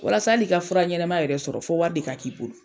Walasa hali ka fura ɲɛna yɛrɛ sɔrɔ fɔ wari de ka k'i bolo.